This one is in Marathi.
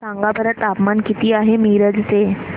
सांगा बरं तापमान किती आहे मिरज चे